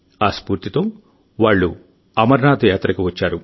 ఆ స్ఫూర్తితో వాళ్ళు అమర్నాథ్ యాత్రకు వచ్చారు